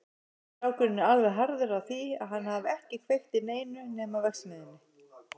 Strákurinn er alveg harður á því að hann hafi ekki kveikt í neinu nema verksmiðjunni.